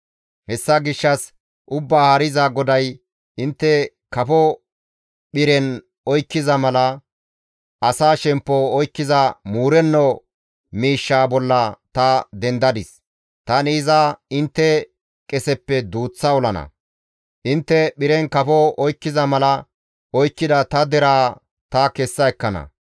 «Hessa gishshas Ubbaa Haariza GODAY, ‹Intte kafo phiren oykkiza mala asa shemppo oykkiza muurenno miishshaa bolla ta dendadis; tani iza intte qeseppe duuththa olana; intte phiren kafo oykkiza mala oykkida ta deraa ta kessa ekkana.